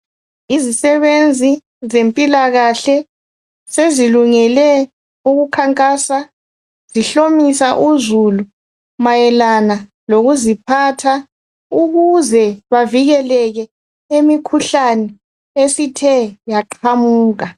Izisebenzi zempilakahle zezilungele ukukhankasa zihlomisa uzulu mayelana lokuziphatha ukuze bavikele emikhuhlane esithe yaqamuka